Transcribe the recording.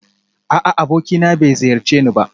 A'a abokina bai ziyarce ni ba